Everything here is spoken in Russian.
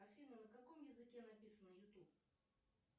афина на каком языке написано ютуб